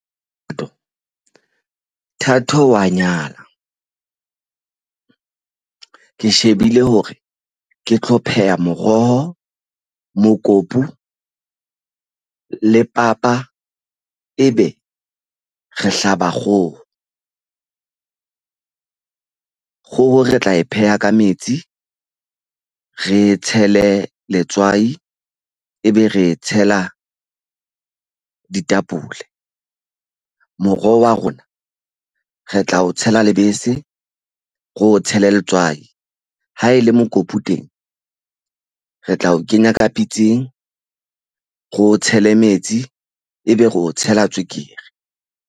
Thato a nyala ke shebile hore ke tlo pheha moroho, mokopu le papa. Ebe re hlaba kgoho. Kgoho re tla e pheha ka metsi, re e tshele letswai ebe re tshela ditapole. Moroho wa rona re tla o tshela lebese, re o tshele letswai. Ha e le mokopu teng re tla o kenya ka pitseng, re o tshele metsi ebe re o tshela tswekere.